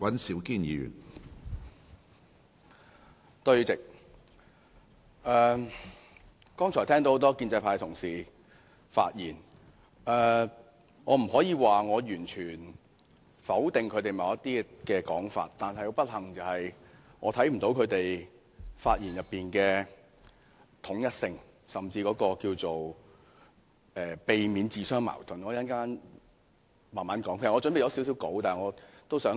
主席，聽過多位建制派同事剛才的發言，我不可以說我完全否定他們某些說法，但不幸的是我看不到他們的發言內容的統一性，也不見他們避免自相矛盾，我會慢慢解釋這點。